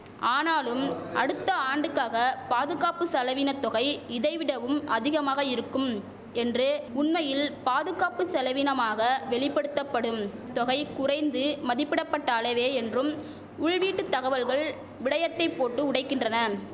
ஆனாலும் அடுத்த ஆண்டுக்காக பாதுகாப்பு செலவினத் தொகை இதை விடவும் அதிகமாக இருக்கும் என்று உண்மையில் பாதுகாப்பு செலவினமாக வெளிபடுத்தபடும் தொகை குறைந்து மதிப்பிடபட்ட அளவே என்றும் உள்வீட்டு தகவல்கள் விடயத்தை போட்டு உடைக்கின்றன